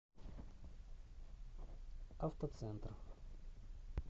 автоцентр